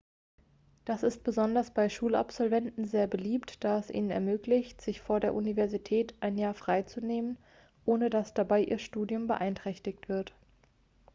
das ist besonders bei schulabsolventen sehr beliebt da es ihnen ermöglicht sich vor der universität ein jahr frei zu nehmen ohne dass dabei ihr studium beeinträchtigt wird